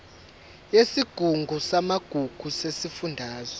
yesigungu samagugu sesifundazwe